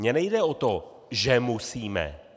Mně nejde o to, že musíme.